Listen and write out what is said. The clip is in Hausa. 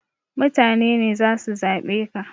Mutane ne zasu zaɓe ka